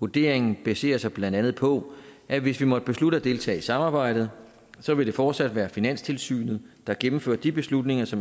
vurderingen baserer sig blandt andet på at hvis vi måtte beslutte at deltage i samarbejdet så vil det fortsat være finanstilsynet der gennemfører de beslutninger som